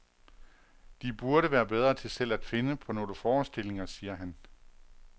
De burde være bedre til selv at finde på nogle forestillinger, siger han.